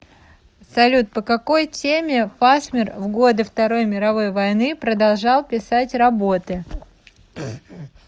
салют по какай теме фасмер в годы второй мировой войны продолжал писать работы